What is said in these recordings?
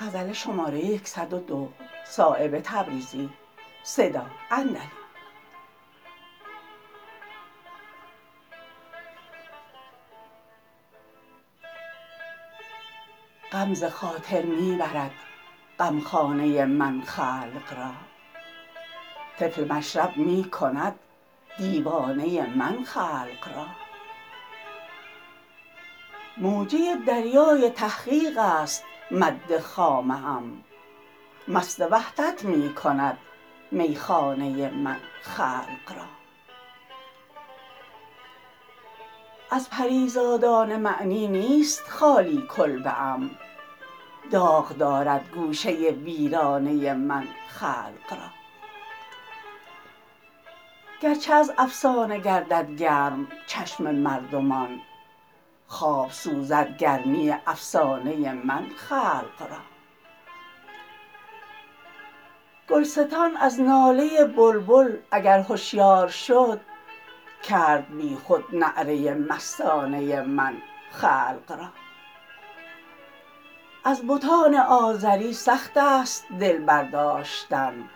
غم ز خاطر می برد غمخانه من خلق را طفل مشرب می کند دیوانه من خلق را موجه دریای تحقیق است مد خامه ام مست وحدت می کند میخانه من خلق را از پریزادان معنی نیست خالی کلبه ام داغ دارد گوشه ویرانه من خلق را گرچه از افسانه گردد گرم چشم مردمان خواب سوزد گرمی افسانه من خلق را گلستان از ناله بلبل اگر هشیار شد کرد بی خود نعره مستانه من خلق را از بتان آزری سخت است دل برداشتن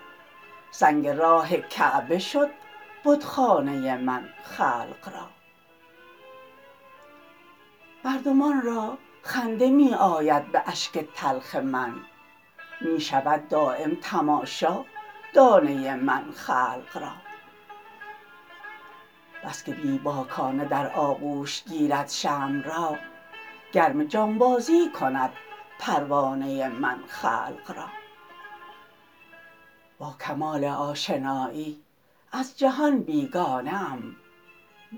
سنگ راه کعبه شد بتخانه من خلق را مردمان را خنده می آید به اشک تلخ من می شوم دام تماشا دانه من خلق را بس که بی باکانه در آغوش گیرد شمع را گرم جانبازی کند پروانه من خلق را با کمال آشنایی از جهان بیگانه ام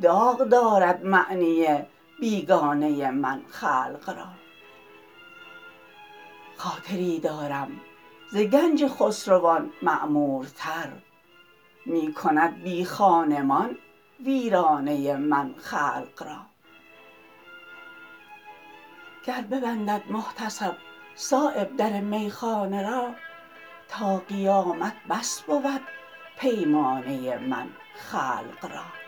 داغ دارد معنی بیگانه من خلق را خاطری دارم ز گنج خسروان معمورتر می کند بی خانمان ویرانه من خلق را گر ببندد محتسب صایب در میخانه را تا قیامت بس بود پیمانه من خلق را